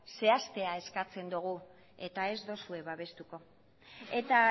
zehaztea eskatzen dugu eta ez duzue babestuko eta